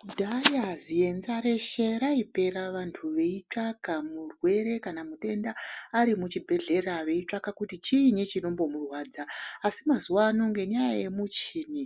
Kudhaya zienza reshe raipera vantu veitsvaka murwere kana mutenda ari muchibhehlera veichitsvaka kuti chiinyi chinombomurwadza asi mazuwa ano ngenyaya yemuchini